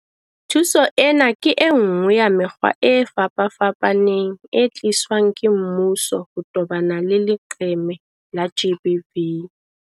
Thuso ena ke enngwe ya mekgwa e fapafapaneng e tliswang ke mmuso ho tobana le leqeme la GBV.